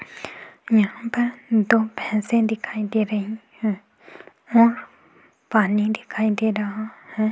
यहां पर दो भैंसे दिखाई दे रही है और पानी दिखाई दे रहा है।